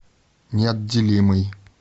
неотделимый